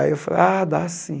Aí eu falei, ah, dá sim.